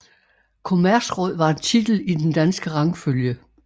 Kommerceråd var en titel i den danske rangfølge